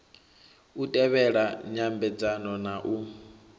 u tevhela nyambedzano na u